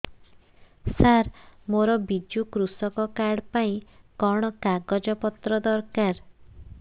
ସାର ମୋର ବିଜୁ କୃଷକ କାର୍ଡ ପାଇଁ କଣ କାଗଜ ପତ୍ର ଦରକାର